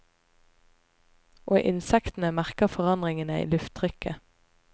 Og insektene merker forandringene i lufttrykket.